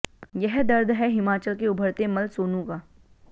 यह दर्द है हिमाचल के उभरते मल्ल सोनू का